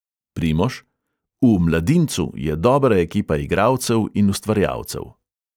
Primož: v "mladincu" je dobra ekipa igralcev in ustvarjalcev.